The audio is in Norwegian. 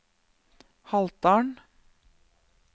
Haltdalen